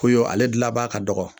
Koyo ale gilan b'a ka dɔgɔ